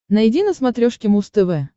найди на смотрешке муз тв